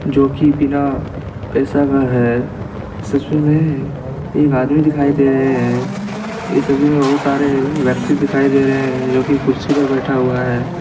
जोकि बिना पैसा का हे इस तस्वीर मे एक आदमी दिखाई दे रहे हे इस तस्वीर मे बहोत सारे व्यक्ति दिखाई दे रहे हे जोकि कुर्सी पर बैठा हुआ हे.